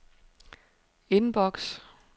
inbox